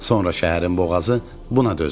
Sonra şəhərin boğazı buna dözmədi.